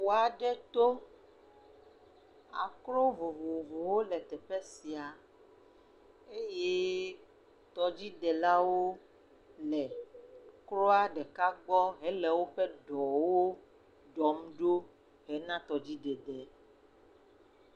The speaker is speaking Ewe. Ƒu aɖe to, akro vovovowo le teƒe sia eye tɔdzidelawo le kroa ɖeka gbɔ hele woƒe ɖɔwo ɖɔm ɖo hena tɔdzidede.